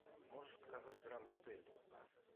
можешь показать гранд отель